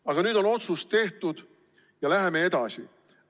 Aga nüüd on otsus tehtud ja läheme edasi.